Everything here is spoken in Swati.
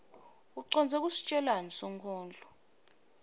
ucondze kusitjelani sonkondlo